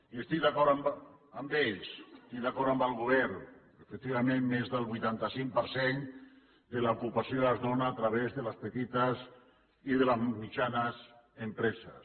i estic d’acord amb ells estic d’acord amb el govern efectivament més del vuitanta cinc per cent de l’ocupació es dóna a través de les petites i de les mitjanes empreses